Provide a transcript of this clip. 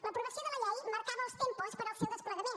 l’aprovació de la llei marcava els tempos per al seu desplegament